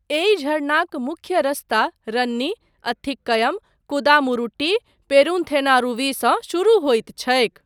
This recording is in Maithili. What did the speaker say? एहि झरनाक मुख्य रस्ता रन्नी, अथिक्कयम, कुदामुरुट्टी, पेरूनथेनारूवी सँ शुरू होइत छैक।